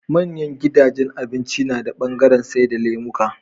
Manyan gidajan abinci nada bangaran saida lemuka